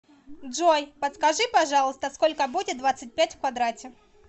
джой подскажи пожалуйста сколько будет двадцать пять в квадрате